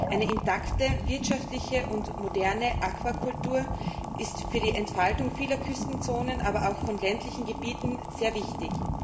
Eine intakte wirtschaftliche und moderne Aquakultur ist für die Entfaltung vieler Küstenzonen, aber auch von ländlichen Gebieten sehr wichtig.